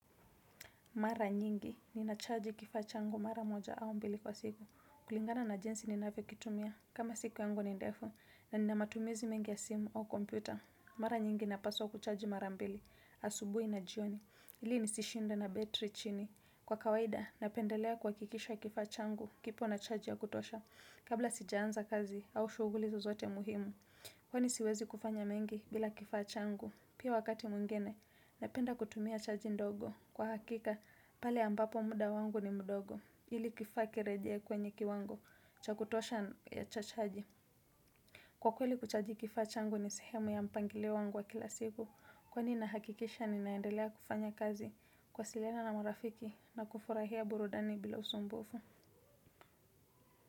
Mara nyingi, ninachaji kifaa changu mara moja au mbili kwa siku. Kulingana na jinsi ninavyo kitumia, kama siku yangu ni ndefu, na ninamatumizi mengi ya simu au kompyuta. Mara nyingi napaswa kuchaji mara mbili, asubuhi na jioni. Ili ni sishinde na battery chini. Kwa kawaida, napendelea kuhakikisha kifaa changu, kipo na charge ya kutosha. Kabla sijaanza kazi, au shughuli zozote muhimu. Kwani siwezi kufanya mengi bila kifaa changu. Pia wakati mwingine, napenda kutumia chaji ndogo. Kwa hakika, pale ambapo muda wangu ni mdogo. Ili kifaa kirejee kwenye kiwango. Chakutosha ya cha chaji. Kwa kweli kuchaji kifaa changu ni sehemu ya mpangilio wangu wa kila siku. Kwani nahakikisha ninaendelea kufanya kazi. Kuwasiliana na marafiki na kufurahia burudani bila usumbufu.